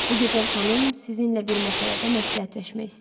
Bu gözəl xanım sizinlə bir məsələdə məsləhətləşmək istəyir.